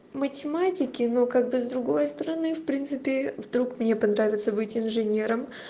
математике но как бы с другой стороны в принципе вдруг мне понравится быть инженером